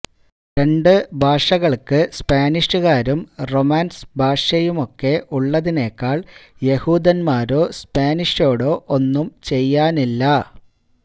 രണ്ട് ഭാഷകൾക്ക് സ്പാനിഷുകാരും റൊമാൻസ് ഭാഷയുമൊക്കെ ഉള്ളതിനേക്കാൾ യഹൂദന്മാരോ സ്പാനിഷ്രോടോ ഒന്നും ചെയ്യാനില്ല